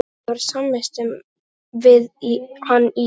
Ég var samvistum við hann í